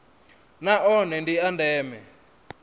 na one ndi a ndeme